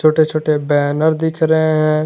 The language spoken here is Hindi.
छोटे छोटे बैनर दिख रहे हैं।